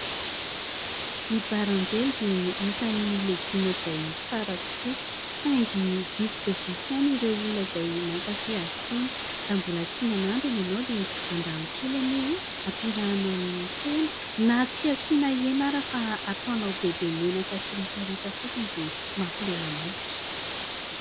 Ny Baranjely dia isany legioma izay tsara tokoa saingy vitsy dia vitsy ihany ireo olona izay mankafia azy itony, raha mbola tsy nanandrana ianao dia andramo kely anie! Hampiarahina amin'ny hena na tsy hasiana hena ary fa ataonao bebe menaka sy ritraritra fotsiny dia mampilela-molotra.